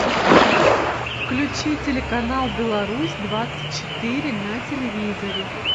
включи телеканал беларусь двадцать четыре на телевизоре